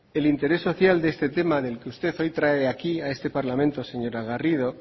el interés social de este tema del que usted hoy trae aquí a este parlamento señora garrido